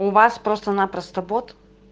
у вас просто-напросто бот